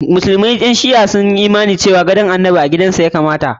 Musulman ƴan shi'a sun yi imani cewa gadon annabi a gidan sa ya kamata.